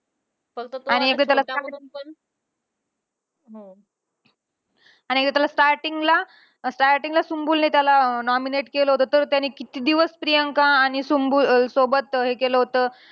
आणि एकदा त्याला आणि एका त्याला starting ला अं starting ला सुम्बूलने त्याला अं nominate केलं होतं. तर त्याने किती दिवस प्रियांका आणि सुम्बूल अं सोबत हे केलं होतं.